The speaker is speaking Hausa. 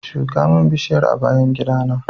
Shuka min bishiyar a bayan gidana